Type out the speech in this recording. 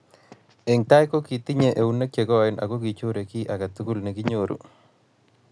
Eng tai, kitinye eunek che koen akichorei kiy aketukul nekinyoru